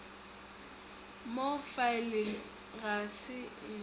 mo faeleng ga se e